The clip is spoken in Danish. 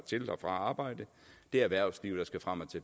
til og fra arbejde det er erhvervslivet